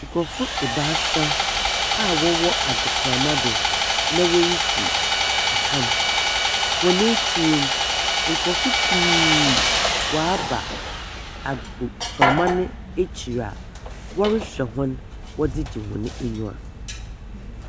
Nkrɔfo ebaasa a wɔwɔ apgoprama do na wɔresi akan. Wɔn akyir no, nkrɔfo pii wɔaba agoprama no akyir a wɔrehwɛ wɔn wɔdze gye wɔn anyiwa.